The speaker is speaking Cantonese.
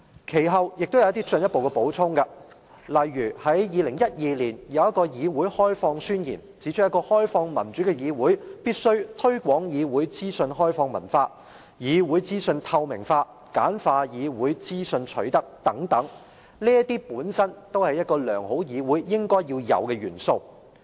其後，他們提出了進一步補充，例如在2012年的"議會開放宣言"，當中指出一個開放民主的議會，必須推廣"議會資訊開放文化"、"議會資訊透明化"、"簡化議會資訊取得"等，這些都是一個良好議會應有的元素。